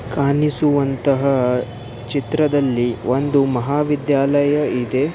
ಕಾಣಿಸುವಂತಹ ಚಿತ್ರದಲ್ಲಿ ಒಂದು ಮಹಾವಿದ್ಯಾಲಯ ಇದೆ.